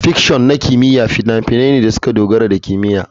Fiction na kimiyya fina-finai ne da suka dogara da kimiyya.